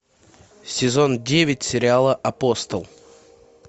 сезон девять сериала апостол